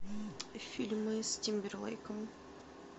фильмы с тимберлейком